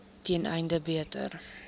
ten einde beter